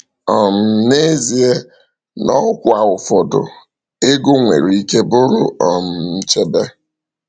um N’ezie, n’ọkwa ụfọdụ, ego nwere ike bụrụ um nchebe.